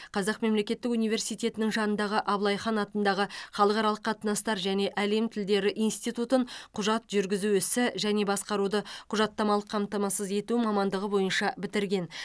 қазақ мемлекеттік университетінің жанындағы абылайхан атындағы халықаралық қатынастар және әлем тілдері институтын құжат жүргізу ісі және басқаруды құжаттамалық қамтамасыз ету мамандығы бойынша бітірген